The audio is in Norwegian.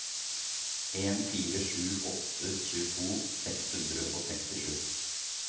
en fire sju åtte tjueto seks hundre og sekstisju